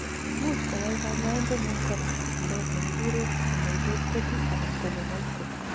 imuch koyai kanyoindetngung korak chikilet nekikuren sigmoidoscopy anan colonoscopy